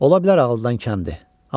Ola bilər ağılda deyil, imkandır.